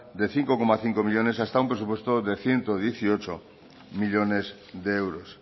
de cinco coma cinco millónes hasta un presupuesto de ciento dieciocho millónes de euros